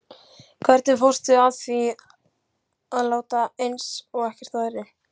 Hvernig fórstu að því að láta eins og ekkert væri?